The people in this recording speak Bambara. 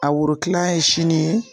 A woro kilan ye sini ye